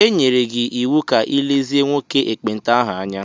E nyere gị iwu ka ị lezie nwoke ekpenta ahụ anya.